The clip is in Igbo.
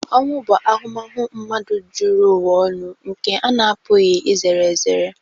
Ọnwụ bụ ahụmahụ mmadụ zuru ụwa ọnụ nke a na-apụghị izere ezere.